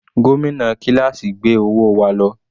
Gómìnà kíláásì gbé owó wa lọ.